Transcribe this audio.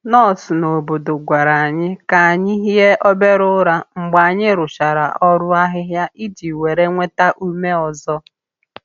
Nọọsụ n’obodo gwara anyị ka anyị hie obere ụra mgbe anyị rụchara ọrụ ahịhịa iji were nweta ume ọzọ.